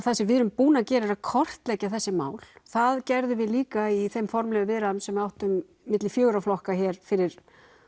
það sem við erum búin að gera er að kortleggja þessi mál það gerðum við líka í þeim formlegu viðræðum sem við áttum á milli fjögurra flokka hér fyrir